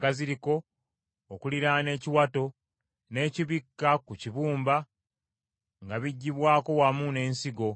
ensigo zombi awamu n’amasavu agaziriko okuliraana ekiwato, n’ekibikka ku kibumba nga biggyibwako wamu n’ensigo.